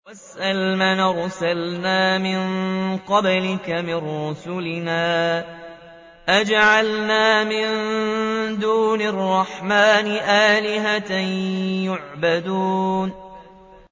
وَاسْأَلْ مَنْ أَرْسَلْنَا مِن قَبْلِكَ مِن رُّسُلِنَا أَجَعَلْنَا مِن دُونِ الرَّحْمَٰنِ آلِهَةً يُعْبَدُونَ